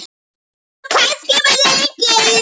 Og kannski mun lengur.